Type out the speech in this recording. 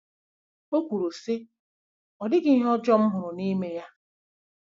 O kwuru, sị: “Ọ dịghị ihe ọjọọ m hụrụ n'ime ya.